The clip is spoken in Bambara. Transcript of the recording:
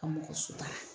Ka mɔgɔ sutura